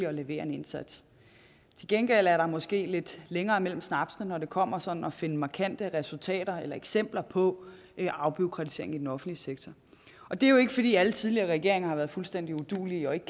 at levere en indsats til gengæld er der måske lidt længere mellem snapsene når det kommer til sådan at finde markante resultater af eller eksempler på afbureaukratisering i den offentlige sektor og det er jo ikke fordi alle tidligere regeringer har været fuldstændig uduelige og ikke